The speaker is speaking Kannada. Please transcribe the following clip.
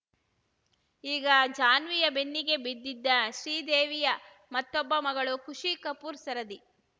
ಈಗ ಜಾನ್ವಿಯ ಬೆನ್ನಿಗೆ ಬಿದ್ದಿದ್ದ ಶ್ರೀದೇವಿಯ ಮತ್ತೊಬ್ಬ ಮಗಳು ಖುಷಿ ಕಪೂರ್‌ ಸರದಿ